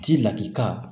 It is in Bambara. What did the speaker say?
Ti lakika